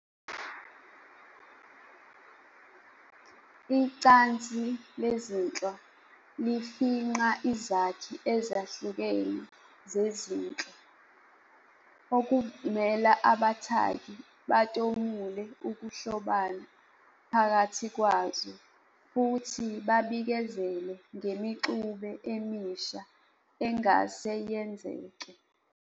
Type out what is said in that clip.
Icansi lezinhlwa lifingqa izakhi ezihlukene zezinhlwa, okuvumela abathaki batomule ukuhlobana phakathi kwazo futhi babikezele ngemixube emisha engase yenzeke.